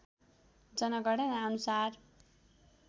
जनगणना अनुसार